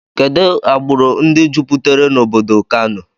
Kedụ agburu ndị juputere n' obodo Kano?